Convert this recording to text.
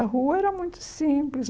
A rua era muito simples.